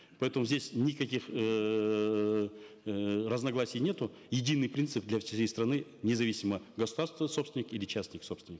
поэтому здесь никаких эээ разногласий нету единый принцип для всей страны независимо государственный собственник или частник собственник